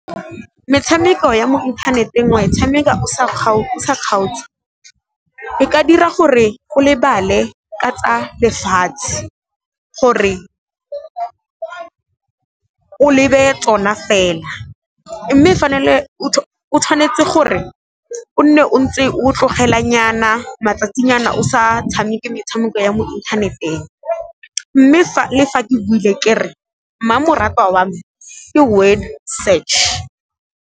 Metshameko ya mo inthaneteng o a e tshameka o sa kgaotse. E ka dira gore go lebale ka tsa lefatshe gore o lebe tsona fela, mme o tshwanetse gore o nne o ntse o tlogela nyana matsatsinyana o sa tshameke metshameko ya mo inthaneteng, mme le fa ke buile ke re mmamoratwa wa me ke Word Search.